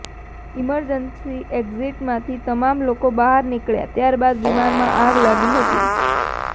emergency એક્ઝિટમાંથી તમામ લોકો બહાર નીકળ્યા ત્યાર બાદ વિમાનમાં આગ લાગી હતી